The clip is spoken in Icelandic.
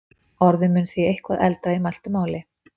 Orðið mun því eitthvað eldra í mæltu máli.